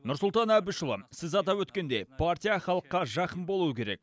нұрсұлтан әбішұлы сіз атап өткендей партия халыққа жақын болуы керек